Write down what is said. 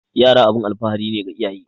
Yara abun alfahari ne ga iyaye